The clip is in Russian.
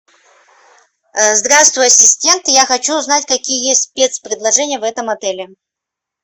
здравствуй ассистент я хочу узнать какие есть спецпредложения в этом отеле